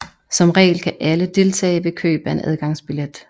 Som regel kan alle deltage ved køb af en adgangsbillet